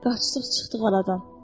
Qaçdıq çıxdıq oradan.